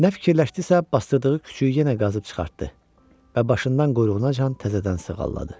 Nə fikirləşdisə, basdırdığı küçüyü yenə qazıb çıxartdı və başından quyruğunacan təzədən sığalladı.